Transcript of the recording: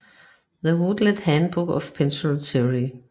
The Routledge Handbook of Pentecostal Theology